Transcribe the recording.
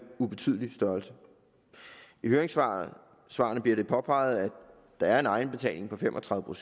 ubetydelig størrelse i høringssvarene bliver det påpeget at der er en egenbetaling på fem og tredive